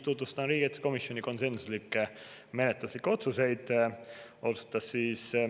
Tutvustan ka riigikaitsekomisjoni konsensuslikke menetluslikke otsuseid.